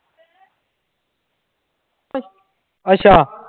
ਅੱਛਾ।